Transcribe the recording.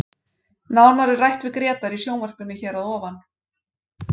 Nánar er rætt við Grétar í sjónvarpinu hér að ofan.